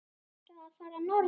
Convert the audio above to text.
Ertu að fara norður?